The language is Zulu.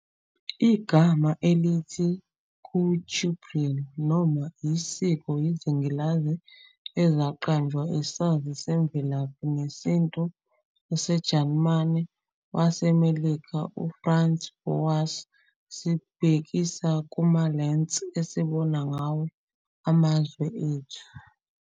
Igama elithi Kulturbrille, noma "isiko izingilazi, "ezaqanjwa isazi semvelaphi nesintu saseJalimane waseMelika uFranz Boas, sibhekisa kuma" lens "esibona ngawo amazwe ethu.